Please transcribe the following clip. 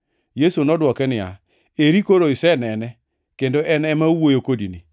Yesu nodwoke niya, “Eri koro isenene; kendo en ema owuoyo kodini.”